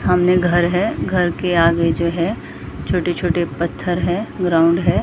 सामने कर घर के आगे जो है छोटे-छोटे पत्थर है ग्राउंड है।